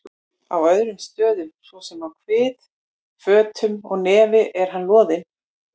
Á öðrum stöðum, svo sem á kvið, fótum og nefi er hann loðinn.